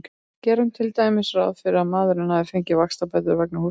Gerum til dæmis ráð fyrir að maðurinn hafi fengið vaxtabætur vegna húsnæðiskaupa.